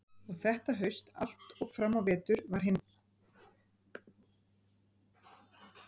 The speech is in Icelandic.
Og þetta haust allt og fram á vetur var hin fjölbreytilegasta umræða í heiðinni.